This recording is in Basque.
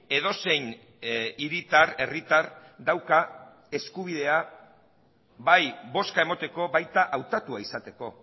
edozein hiritar herritar dauka eskubidea bai bozka emateko baita hautatua izateko